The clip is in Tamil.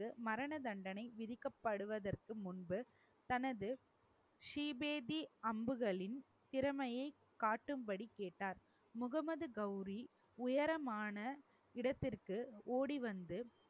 மரண தண்டனை விதிக்கப்படுவதற்கு முன்பு, தனது ஸ்ரீ பேதி அம்புகளின் திறமைய காட்டும்படி கேட்டார் முகமது கோரி உயரமான இடத்திற்கு ஓடி வந்து